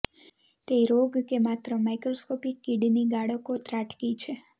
તે રોગ કે માત્ર માઇક્રોસ્કોપિક કિડની ગાળકો ત્રાટકી છે